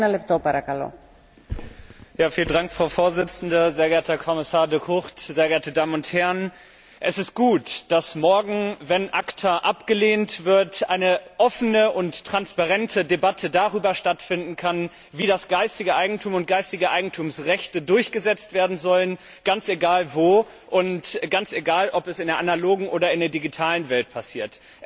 Frau Präsidentin, sehr geehrter Herr Kommissar De Gucht, sehr geehrte Damen und Herren! Es ist gut, dass morgen, wenn ACTA abgelehnt wird, eine offene und transparente Debatte darüber stattfinden kann, wie das geistige Eigentum und geistige Eigentumsrechte durchgesetzt werden sollen, ganz egal wo und ganz egal, ob es in der analogen oder in der digitalen Welt passiert.